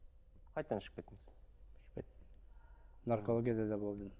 қайтадан ішіп кеттіңіз наркологияда да болдым